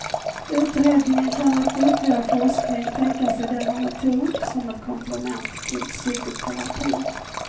Utredningen kan efter ytterligare forskning tänka sig denna metod som ett komplement till psykoterapi.